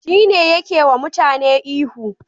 Shine yake yiwa mutane ihu